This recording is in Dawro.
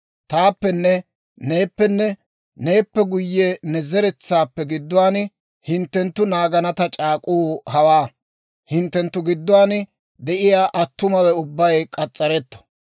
Taappenne neeppenne, neeppe guyye ne zeretsaappe gidduwaan hinttenttu naagana ta c'aak'uu hawaa; hinttenttu gidduwaan de'iyaa attumawe ubbay k'as's'aretto.